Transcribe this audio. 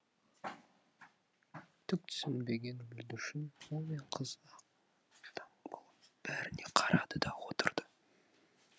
түк түсінбеген бүлдіршін ұл мен қыз аң таң болып бәріне қарады да отырды